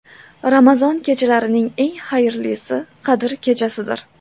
Ramazon kechalarining eng xayrlisi Qadr kechasidir.